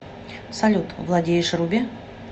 салют владеешь руби